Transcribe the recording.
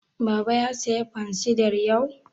Baba ya saya fansidar yau?